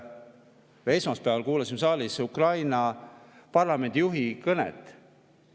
Me esmaspäeval kuulasime siin saalis Ukraina parlamendi juhi kõnet.